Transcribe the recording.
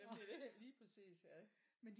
Jamen det det lige præcis ja